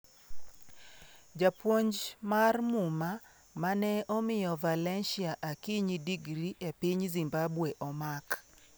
Japuonj mar Muma ma ne omiyo Valencia Akinyi digri e piny Zimbabwe omak